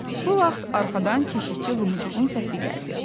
Bu vaxt arxadan keşikçi Lumuqun səsi gəldi.